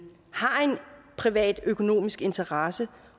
privatøkonomisk interesse